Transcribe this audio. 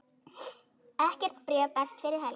Ekkert bréf berst fyrir helgi.